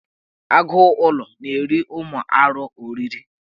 Agụụlọ na-eri ụmụ arụ ọrịrị.